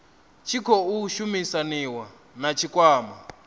tshi khou shumisaniwa na tshikwama